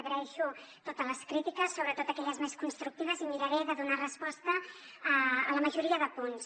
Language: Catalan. agraeixo totes les crítiques sobretot aquelles més constructives i miraré de donar resposta a la majoria de punts